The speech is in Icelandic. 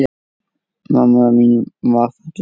Mamma mín var falleg.